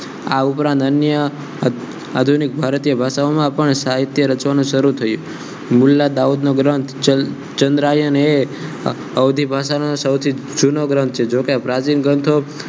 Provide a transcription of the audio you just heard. આ ઉપરાંત અન્ય આધુનિક ભારતીયન ભાષાઓમાં સાહિત્ય રચવાનો શરૂ થયો મુલ્લા દાઉદ ઈબ્રાહીમ ચંદ્રયાન હે અવધી ભાષા નો સૌથી જૂનો ગ્રંથ છે જોકે પ્રાચીન ગ્રંથો